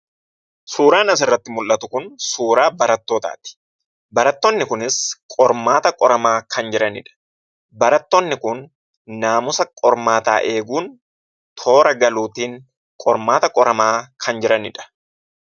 Suuraan asirratti mul'atu kun suuraa barattootaati. Barattoonni kunis qormaata qoramaa kan jiranidha. Barattoonni kun naamusa qormaataa eeguun toora galuutiin qormaata qoramaa kan jiranidha.